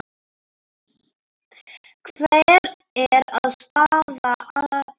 Hver er staða þeirra?